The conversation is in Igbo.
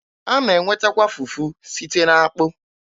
A na-enwetakwa fufu site n'akpụ.